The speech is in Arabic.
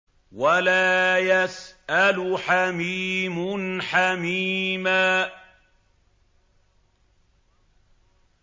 وَلَا يَسْأَلُ حَمِيمٌ حَمِيمًا